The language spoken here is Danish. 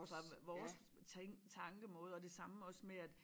Fra vores tænk tankemåde og det samme også med at